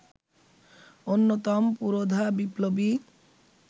অন্যতম পুরোধা বিপ্লবী